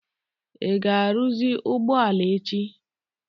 ị ga-arụzi ụgbọ ala a echi?